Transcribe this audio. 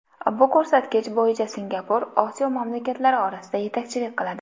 Bu ko‘rsatkich bo‘yicha Singapur Osiyo mamlakatlari orasida yetakchilik qiladi.